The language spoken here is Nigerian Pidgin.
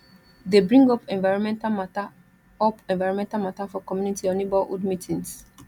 dey bring up environmental mata up environmental matter for community or neighbourhood meetings